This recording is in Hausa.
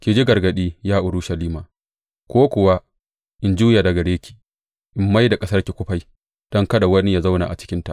Ki ji gargaɗi, ya Urushalima, ko kuwa in juya daga gare ki in mai da ƙasarki kufai don kada wani ya zauna a cikinta.